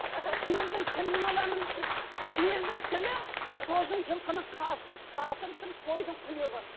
сиырдың тілін аламын сиырдың тілі сосын жылқының қазысы қатырып тұрып қойдың құйрығы